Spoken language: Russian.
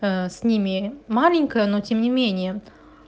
с ними маленькая но тем не менее